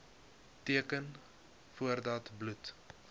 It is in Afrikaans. teken voordat bloed